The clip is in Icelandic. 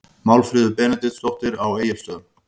Málfríður Benediktsdóttir á Egilsstöðum